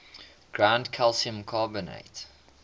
ground calcium carbonate